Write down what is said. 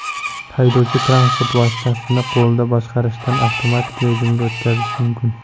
Haydovchi transport vositasini qo‘lda boshqarishdan avtomatik rejimga o‘tkazishi mumkin.